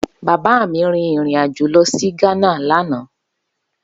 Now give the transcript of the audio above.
Baba mi rin irin ajo lọ si Ghana lana.